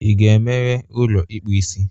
Ị ga-emeghe ụlọ ịkpụ isi?